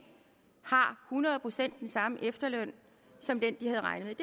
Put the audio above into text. hundrede procent samme efterløn som den de havde regnet